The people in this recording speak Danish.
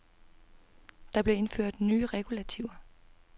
Der blev indført nye regulativer.